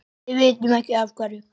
Við vitum ekki af hverju.